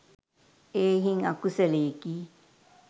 එහෙයින් අකුසලයෙකි.